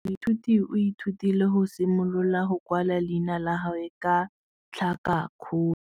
Moithuti o ithutile go simolola go kwala leina la gagwe ka tlhakakgolo.